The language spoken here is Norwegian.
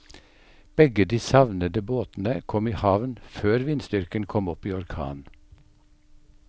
Begge de savnede båtene kom i havn før vindstyrken kom opp i orkan.